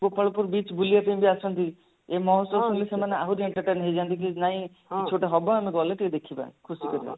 Gopalpur beach ବୁଲିବା ପାଇଁ ବି ଆସନ୍ତି ଏଇ ମହୋତ୍ସବ ରେ ସେମାନେ ଆହୁରି entertain ହେଇଯାଆନ୍ତି କି ନାଇଁ କିଛି ଗୋଟେ ହବ ଆମେ ଗଲେ ଟିକେ ଦେଖିବା ଖୁସି କରିବା